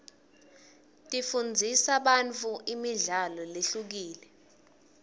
tifundzisa bantfu imidlalo lehlukile